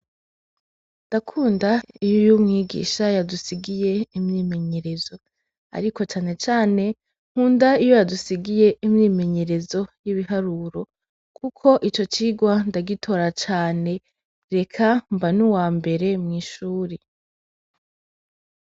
Ndakunda iyo umwigisha yadusigiye imyimenyerezo, ariko cane cane nkunda iyo yadusigiye imyimenyerezo y'ibiharuro kuko ico cirwa ndagitora cane eka mba n'uwambere mw'ishuri.